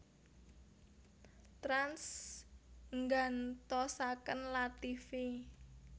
Trans nggantosaken Lativi